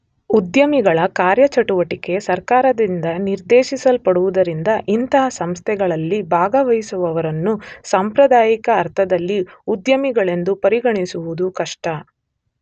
ಉದ್ಯಮಿಗಳ ಕಾರ್ಯಚಟುವಟಿಕೆ ಸರ್ಕಾರದಿಂದ ನಿರ್ದೇಶಿಸಲ್ಪಡುವುದರಿಂದ ಇಂಥ ಸಂಸ್ಥೆಗಳಲ್ಲಿ ಭಾಗವಹಿಸುವವರನ್ನು ಸಾಂಪ್ರದಾಯಿಕ ಅರ್ಥದಲ್ಲಿ ಉದ್ಯಮಿಗಳೆಂದು ಪರಿಗಣಿಸುವುದು ಕಷ್ಟ.